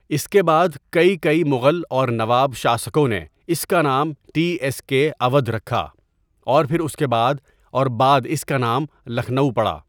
اِس کے بعد کئی کئی مُغل اور نواب شاسکوں نے اِس کا نام ٹی ایس کے اوّدھ رکھا اور پھر اُس کے بعد اور بعد اِس کا نام لکھنؤ پڑا.